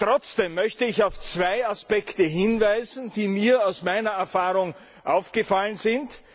Trotzdem möchte ich auf zwei Aspekte hinweisen, die mir aus meiner Erfahrung aufgefallen sind.